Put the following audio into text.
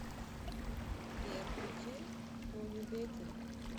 сбер включи онур бетин